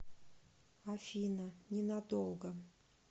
афина ненадолго